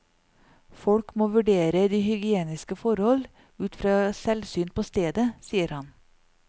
Folk må vurdere de hygieniske forhold ut fra selvsyn på stedet, sier han.